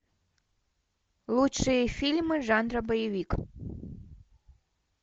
лучшие фильмы жанра боевик